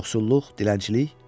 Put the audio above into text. Yoxsulluq, dilənçilik.